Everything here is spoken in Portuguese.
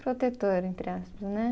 Protetor, entre aspas, né?